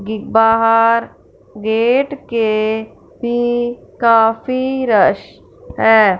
बाहर गेट के भी काफी रस है।